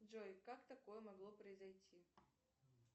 джой как такое могло произойти